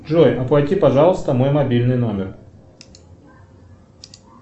джой оплати пожалуйста мой мобильный номер